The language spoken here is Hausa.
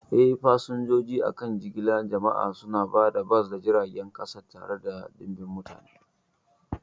Eh, fasinjoji a kan jigilar jama'a suna hada bas da jiragen kasa tare da ɗimbin mutane.